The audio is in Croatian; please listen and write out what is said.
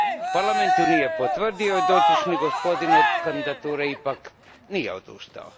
Parlament je nije potvrdio i dotični gospodin od kandidature ipak nije odustao.